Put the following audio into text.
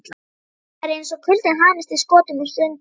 Það er eins og kuldinn hamist í skotum og sundum.